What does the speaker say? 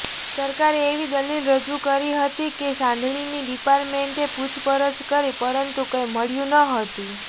સરકારે એવી દલીલ રજૂ કરી હતી કે સાંઘાણીની ડિપાર્ટમેન્ટે પૂછપરછ કરી પરંતુ કંઈ મળ્યું નહોતું